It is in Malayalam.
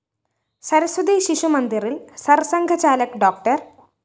സരസ്വതി ശിശുമന്ദിറില്‍ സര്‍സംഘചാലക് ഡോ